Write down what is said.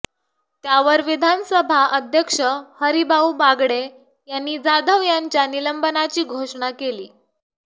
त्यावर विधानसभा अध्यक्ष हरिभाऊ बागडे यांनी जाधव यांच्या निलंबनाची घोषणा केली